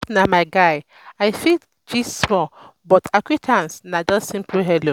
if na my guy i fit gist small but acquaintance na just simple hello.